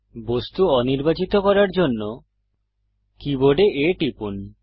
বস্তু অনির্বাচিত করার জন্য কীবোর্ডে A টিপুন